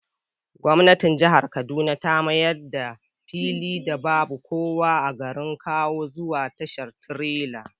Gwamnatin jihar Kaduna ta mayar da filin da babu kowa a garin kawo zuwa tashar tirela